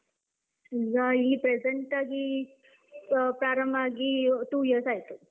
ಈಗಾ ಈ present ಆಗೀ ಆ ಪ್ರಾರಂಭ ಆಗೀ two years ಆಯ್ತು.